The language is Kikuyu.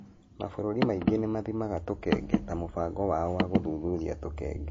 Mabũrũri maingĩ nĩ mathimaga tũkenge ta mũbango wao wa gũthũthuria tũkenge.